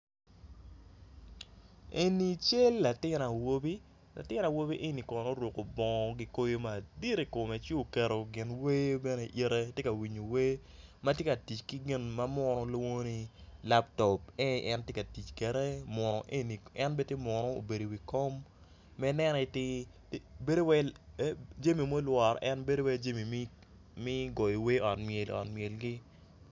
Eni cal latin awobi latin awobi eni kono oruko bongo kikoyo madit ikome ci oketo ginwer bene ite tye ka winyo wer matye ka tic ki gin ma munu lwongo ni laptop en en aye tye ka tic kwede en bene tye munu obedo i wi kom jami ma olworo en bedo wai jami me goyo wer ot ot myel gi.